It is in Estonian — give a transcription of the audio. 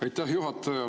Aitäh, juhataja!